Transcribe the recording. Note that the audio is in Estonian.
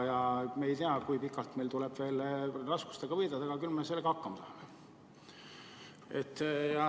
Me ei tea, kui pikalt meil tuleb veel raskustega võidelda, aga küll me hakkama saame.